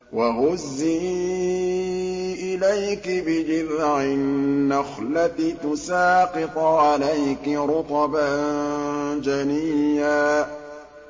وَهُزِّي إِلَيْكِ بِجِذْعِ النَّخْلَةِ تُسَاقِطْ عَلَيْكِ رُطَبًا جَنِيًّا